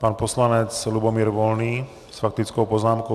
Pan poslanec Lubomír Volný s faktickou poznámkou.